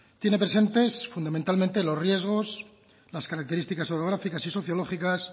tiene presentes fundamentalmente los riesgos las características orográficas y sociológicas